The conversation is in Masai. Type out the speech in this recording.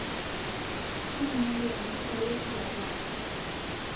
Taanyuaki amu kalotuta taata